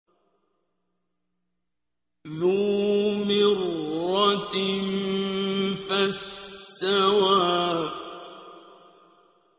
ذُو مِرَّةٍ فَاسْتَوَىٰ